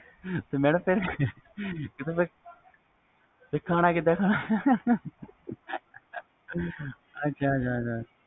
madam ਫਿਰ ਖਾਣਾ ਕੀਦਾ ਖਾਣਾ ਆ ਅੱਛਾ ਅੱਛਾ